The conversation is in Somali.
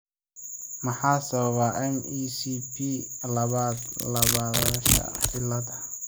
Maxaa sababa MECP labaad laablaabashada cillada?